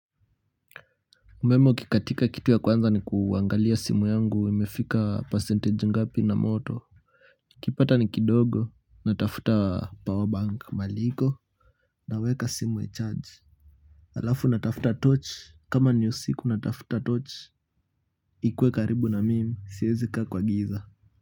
Umeme ukikatika, kitu cha kwanza ni kuangalia simu yangu imefika percentage ngapi na moto. Nikipata ni kidogo natafuta power bank mahali iko, naweka simu ichaji. Halafu natafuta tochi kama ni usiku, natafuta tochi. Ikuwe karibu na mimi siwezi kaa kwa giza.